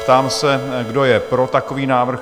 Ptám se, kdo je pro takový návrh?